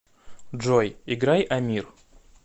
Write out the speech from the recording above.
джой играй амир